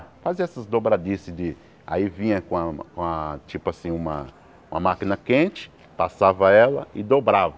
Fazia essas dobradiças de, aí vinha com a com a tipo assim uma uma máquina quente, passava ela e dobrava.